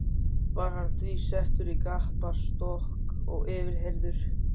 Var hann því settur í gapastokk og yfirheyrður.